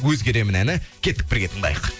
өзгеремін әні кеттік бірге тыңдайық